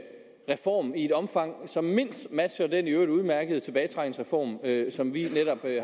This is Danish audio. reform i et omfang som mindst matcher den i øvrigt udmærkede tilbagetrækningsreform som vi netop